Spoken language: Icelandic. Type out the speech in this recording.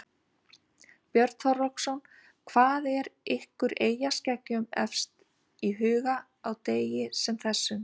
Björn Þorláksson: Hvað er ykkur eyjaskeggjum efst í huga á degi sem þessum?